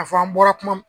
A fɔ an bɔra kuma